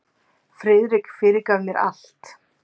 Það er úr þýðingu á leynilögreglusögu.